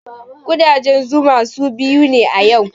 Ƙudajen zuma sun biyo ni yau